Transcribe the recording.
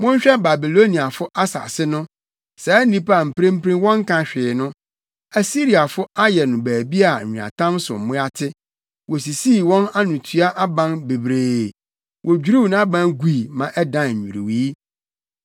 Monhwɛ Babiloniafo asase no saa nnipa a mprempren wɔnka hwee no! Asiriafo ayɛ no baabi a nweatam so mmoa te; wosisii wɔn anotua aban bebree, wodwiriw nʼaban gui ma ɛdan nnwiriwii.